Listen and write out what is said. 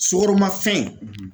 Sukoromafɛn